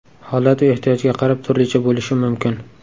Holat va ehtiyojga qarab turlicha bo‘lishi mumkin.